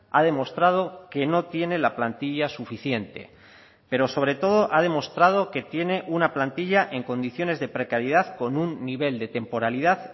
ha demostrado que no tiene la plantilla suficiente pero sobre todo ha demostrado que tiene una plantilla en condiciones de precariedad con un nivel de temporalidad